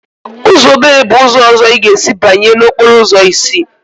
Uzọ obere bụ ụzọ ọzọ ị ga-esi banye n'okporo ụzọ isi.